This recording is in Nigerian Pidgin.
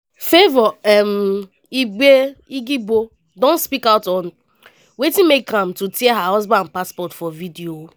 favour um igiebor don speak out on wetin make am to tear her husband passport for video.